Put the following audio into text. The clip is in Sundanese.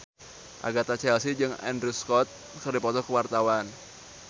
Agatha Chelsea jeung Andrew Scott keur dipoto ku wartawan